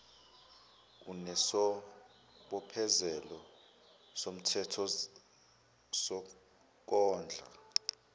onesibophezelo somthetho sokondla